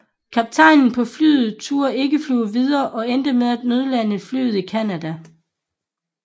Kaptajnen på flyet turde ikke flyve videre og endte med at nødlande flyet i Canada